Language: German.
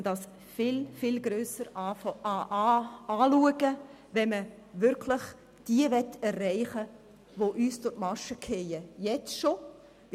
Man sollte es viel breiter angehen, wenn man wirklich diejenigen erreichen möchte, die durch die Maschen fallen – und zwar bereits jetzt durch die Maschen fallen.